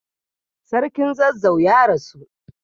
Sarkin zazzau ya rasu.